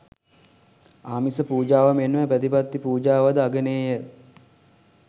ආමිස පූජාව මෙන්ම ප්‍රතිපත්ති පූජාවද අගනේය